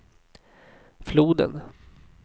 floden